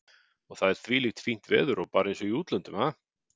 Og það er þvílíkt fínt veður og bara eins og í útlöndum, ha?